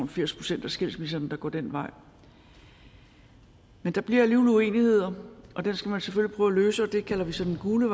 firs procent af skilsmisserne der går den vej men der bliver alligevel uenigheder og dem skal man selvfølgelig prøve at løse og det kalder vi så det gule